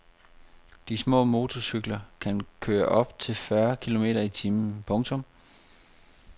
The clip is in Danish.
De små motorcykler kan køre op til fyrre kilometer i timen. punktum